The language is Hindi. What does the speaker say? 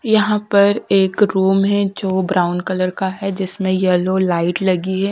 यहां पर एक रूम है जो ब्राउन कलर का है जिसमें येलो लाइट लगी है।